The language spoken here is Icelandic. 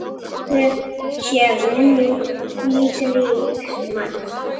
Blessuð sé minning litríks manns.